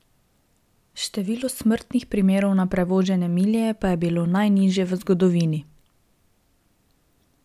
Število smrtnih primerov na prevožene milje pa je bilo najnižje v zgodovini.